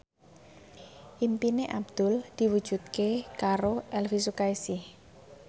impine Abdul diwujudke karo Elvy Sukaesih